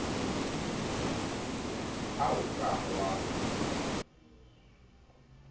ha o a ka wa